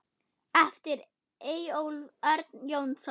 eftir Eyjólf Örn Jónsson